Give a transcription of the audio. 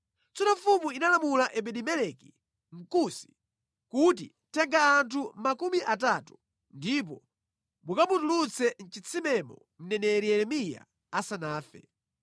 Tsono mfumu inalamula Ebedi-Meleki, Mkusi, kuti, “Tenga anthu makumi atatu, ndipo mukamutulutse mʼchitsimemo mneneri Yeremiya asanafe.”